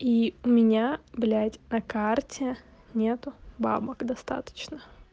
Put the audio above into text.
и у меня блять на карте нету бабок достаточно